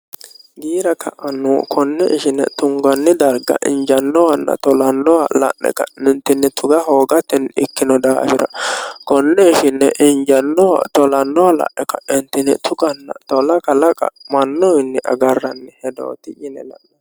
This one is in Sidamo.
giira ka'annu konne ishine tunganni darga injannowanna tolannowa la'ne kanintinni tuga hoogatenni ikkino daafira konne ishinne injannoha tolannoha la'e ka'edtine tuganna 1olaqa laqa mannoinni agarranni hedooti yine la'no